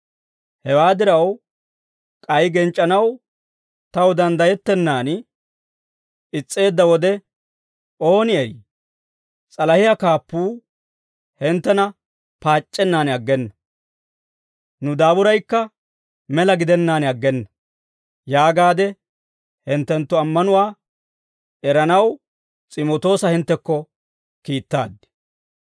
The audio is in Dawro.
Hewaa diraw, k'ay genc'c'anaw taw danddayettennan is's'eedda wode, «Ooni eri s'alahiyaa kaappuu hinttena paac'c'ennan aggena. Nu daaburaykka mela gidennaan aggena» yaagaade hinttenttu ammanuwaa eranaw S'imootoosa hinttekko kiittaad.